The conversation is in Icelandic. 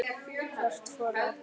Hvert fóru allir?